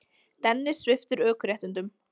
Dennis sviptur ökuréttindum